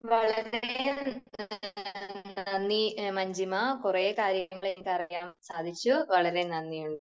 വളരെ നന്ദി മഞ്ജിമ. കുറെ കാര്യങ്ങൾ എനിക്ക് അറിയാൻ സാധിച്ചു, വളരെ നന്ദിയുണ്ട്.